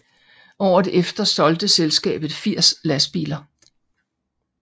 Året efter solgte selskabet 80 lastbiler